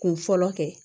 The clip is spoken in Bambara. Kun fɔlɔ kɛ